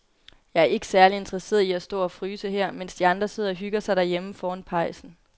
Jeg er ikke særlig interesseret i at stå og fryse her, mens de andre sidder og hygger sig derhjemme foran pejsen.